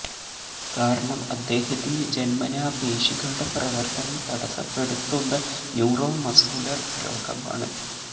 കാരണം അദ്ദേഹത്തിന് ജന്മനാ പേശികളുടെ പ്രവര്ത്തനം തടസപ്പെടുത്തുന്ന ന്യൂറോ മസ്കുലർ രോഗമാണ്